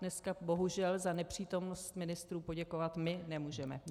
Dneska bohužel za nepřítomnost ministrů poděkovat my nemůžeme.